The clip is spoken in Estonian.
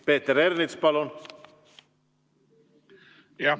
Peeter Ernits, palun!